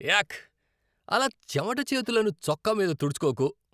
యాక్. అలా చెమట చేతులను చొక్కా మీద తుడుచుకోకు.